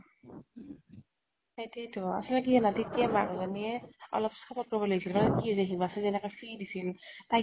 সেইটোৱেতো, আচলতে কি জানা, তেতিয়া মাক জনীয়ে অলপ support কৰিব লাগিছিল মানে কি হৈছে হিমাশ্ৰীক যেনেকে free দিছিল, তাইক